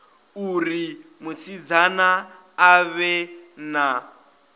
uri musidzana a vhe na